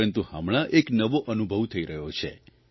પરંતુ હમણાં એક નવો અનુભવ થઇ રહ્યો છે